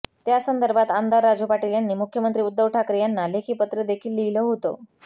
त्यासंदर्भात आमदार राजू पाटील यांनी मुख्यमंत्री उद्धव ठाकरे यांना लेखी पत्र देखील लिहिलं होतं